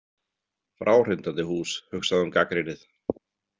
Fráhrindandi hús, hugsaði hún gagnrýnið.